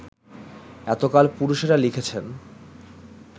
এতকাল পুরুষেরা লিখেছেন